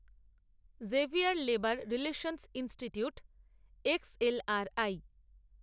Xavier Labour Relations Institute XLRI